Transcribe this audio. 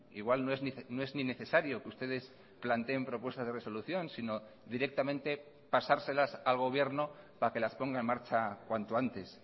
igual no es ni necesario que ustedes planteen propuestas de resolución sino directamente pasárselas al gobierno para que las ponga en marcha cuanto antes